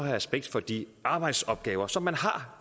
respekt for de arbejdsopgaver som man har